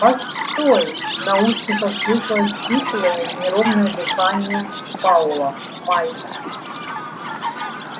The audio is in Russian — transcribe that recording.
постой в наушниках слышалось хриплое неровное дыхание пауэлла майк